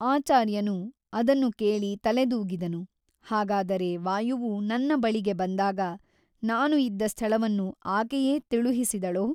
ಆಚಾರ್ಯನು ಅದನು ಕೇಳಿ ತಲೆದೂಗಿದನು ಹಾಗಾದರೆ ವಾಯುವು ನನ್ನ ಬಳಿಗೆ ಬಂದಾಗ ನಾನು ಇದ್ದ ಸ್ಥಳವನ್ನು ಆಕೆಯೇ ತಿಳುಹಿಸಿದಳೋ?